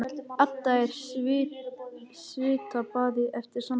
Edda er í svitabaði eftir samtalið.